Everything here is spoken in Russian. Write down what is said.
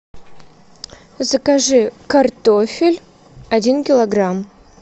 закажи картофель один килограмм